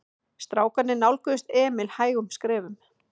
Strákarnir nálguðust Emil hægum skrefum.